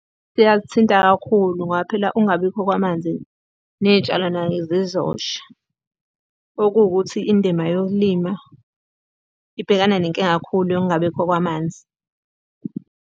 Siyakuthinta kakhulu ngoba phela ukungabibikho kwamanzi, ney'tshalo naye zizosha. Okuwukuthi indima yokulima ibhekana nenkinga kakhulu yokungabibikho kwamanzi.